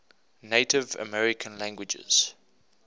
native american languages